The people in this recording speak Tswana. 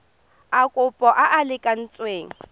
a kopo a a lekaneng